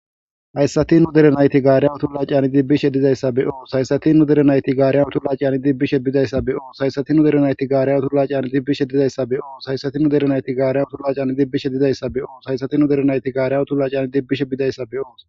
hayssatin nu derenayti gaariyan tullaciyani dibbishe dizayssa be7oo saysatinu derenayti gaariyan tulaciani dibbishe bidayssa beoo saysatinu derenayti gaariyan turlacian dibbishe dizayssa beoo sayssatinu derenayti gaariyan tulaciani dibbishe dizayssa be7oo saysatinu derenayti gaariyan tulacian dibbishe bidayssa beoo